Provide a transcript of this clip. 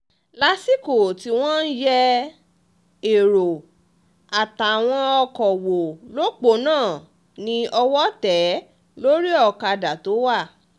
lásìkò tí wọ́n ń yẹ èrò àtàwọn ọkọ̀ wò lọ́pọ̀nà ni owó tẹ̀ é lórí ọ̀kadà tó wà